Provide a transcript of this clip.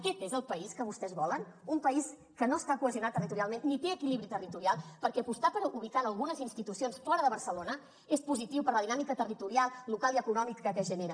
aquest és el país que vostès volen un país que no està cohesionat territorialment ni té equilibri territorial perquè apostar per ubicar algunes institucions fora de barcelona és positiu per la dinàmica territorial local i econòmica que genera